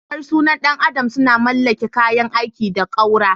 Harsunan ɗan adam sun mallaki kayan aiki da ƙaura.